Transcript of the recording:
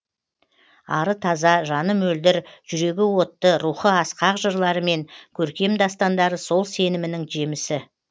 ары таза жаны мөлдір жүрегі отты рухы асқақ жырлары мен көркем дастандары сол сенімінің жемісі